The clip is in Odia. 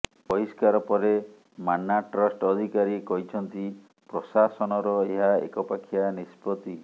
ବହିଷ୍କାର ପରେ ମାନ୍ନାଟ୍ରଷ୍ଟ ଅଧିକାରୀ କହିଛନ୍ତି ପ୍ରଶାସନର ଏହା ଏକପାଖିଆ ନିଷ୍ପତ୍ତି